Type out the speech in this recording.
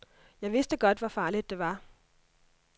Jeg vidste godt, hvor farligt det var.